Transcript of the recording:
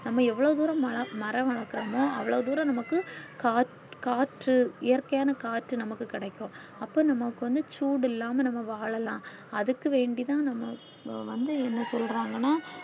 நம்ம எவ்ளோ துரோம் மல மரம் வளக்குரோமோ அவ்ளோ துரோம் நமக்கு காட் காற்று இயற்கையான காற்று நமக்கு கிடைக்கும் அப்போ நமக்கு வந்து சூடு இல்லம்மா நம்ம வாழல்லாம் அதுக்கு வேண்டி தான் நம்ம வந்து என்ன சொல்றாங்கன்னா